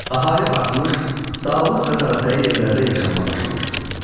Əhali artmış, dağlıq və dağətəyi yerlərdə yaşamağa başlamışdı.